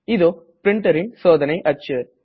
இதோ printerன் சோதனை அச்சு